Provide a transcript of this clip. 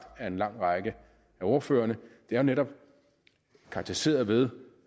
af en lang række af ordførerne netop karakteriseret ved